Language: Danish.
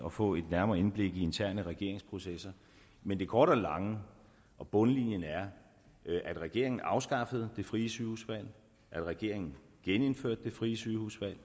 at få et nærmere indblik i interne regeringsprocesser men det korte af det lange og bundlinjen er at regeringen afskaffede det frie sygehusvalg at regeringen genindførte det frie sygehusvalg